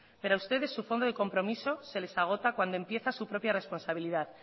pero a ustedes su fondo de compromiso se les agota cuando empieza su propia responsabilidad